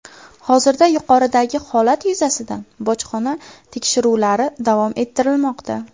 Hozirda yuqoridagi holat yuzasidan bojxona tekshiruvlari davom ettirilmoqda.